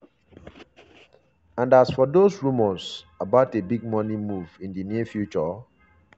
and as for dos rumours about a big money move in di near future?